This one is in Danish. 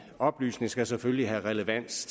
oplysning skal selvfølgelig have relevans